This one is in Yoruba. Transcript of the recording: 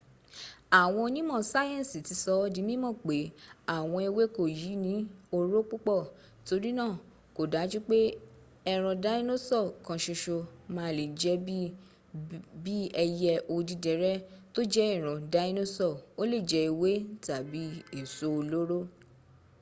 àwọn onímọ̀ sáyẹ̀nsì ti sọ̀ ọ di mímọ̀ pé àwọn ewéko yìí ní oró púpọ̀ torína kò dájú pé ẹran dínósọ̀ kankan má a lè jẹ́ bí b ẹyẹ odídẹrẹ́ tó jẹ́ ìran dínósọ̀ ó lè jẹ ewé tàbí èso olóró